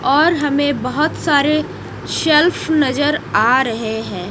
और हमें बहोत सारे शेल्फ नजर आ रहे हैं।